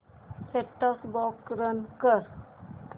set top box run कर